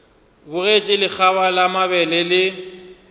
bogetše lekgaba la mabele le